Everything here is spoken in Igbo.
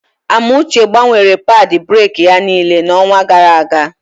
Amuche gbanwere padị breki ya niile n'onwa gara aga.